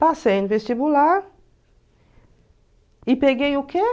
Passei no vestibular e peguei o quê?